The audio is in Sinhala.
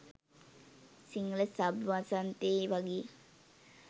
සිංහල සබ් වසන්තේ වගේ